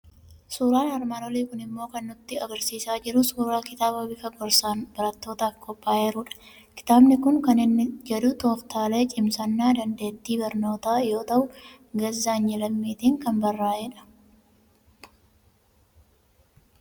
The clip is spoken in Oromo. Suuraan armaan olii kun immoo kan inni nutti argisiisaa jiru suuraa kitaaba bifa gorsaan barattootaaf qophaa'eerudha. Kitaabni kun kan inni jedhu "Tooftaalee Cimsannaa Dandeettii Barnootaa" yoo ta'u, Gazzaany Lammiitiin kan barraa'edha.